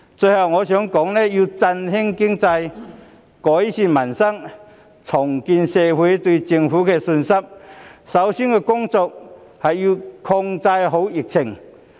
最後，我想說的是，要振興經濟、改善民生、重建社會對政府的信心，首要工作是要控制好疫情。